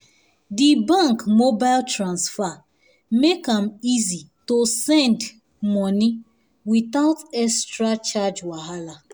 di bank mobile transfer make am easy to send um money without extra charge wahala